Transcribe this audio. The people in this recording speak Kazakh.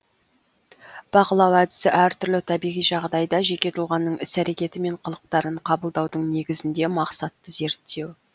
бақылау әдісі әр түрлі табиғи жағдайда жеке тұлғаның іс әрекеті мен қылықтарын қабылдаудың негізінде мақсатты зерттеу